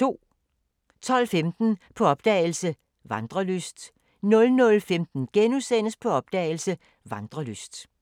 12:15: På opdagelse – Vandrelyst 00:15: På opdagelse – Vandrelyst *